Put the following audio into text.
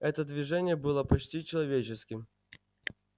это движение было почти человеческим